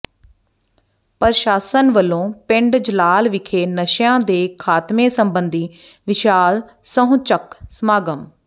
ਪ੍ਰਸ਼ਾਸਨ ਵਲੋਂ ਪਿੰਡ ਜਲਾਲ ਵਿਖੇ ਨਸ਼ਿਆਂ ਦੇ ਖ਼ਾਤਮੇ ਸਬੰਧੀ ਵਿਸ਼ਾਲ ਸਹੁੰ ਚੁੱਕ ਸਮਾਗਮ